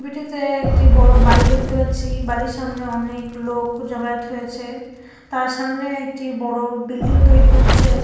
ছবিটিতে একটি বড়ো বাড়ি দেখতে পাচ্ছি বাড়ির সামনে অনেক লোক জমায়েত হয়েছে তার সামনে একটি বড়ো বিল্ডিং তৈরি হচ্ছে।